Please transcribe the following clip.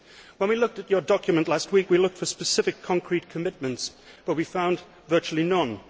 When we looked at your document last week, we looked for specific concrete commitments, but we found virtually none.